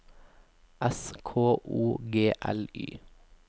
S K O G L Y